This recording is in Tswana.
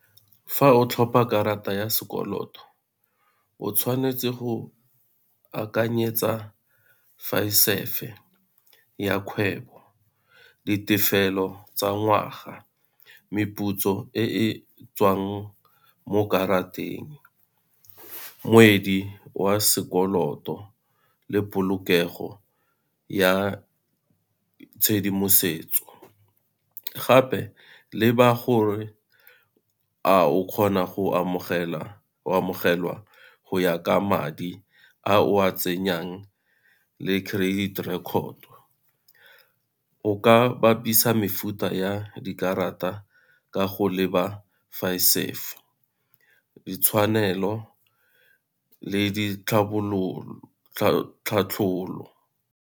Fa o tlhopa karata ya sekoloto o tshwanetse go akanyetsa ya kgwebo, ditefelo tsa ngwaga, meputso e tswang mo Kateng, wa sekoloto le polokego ya tshedimosetso. Gape le ba gore a o kgona go amogelwa go ya ka madi a o a tsenyang le credit rekoto. O ka bapisa mefuta ya dikarata ka go leba ditshwanelo le .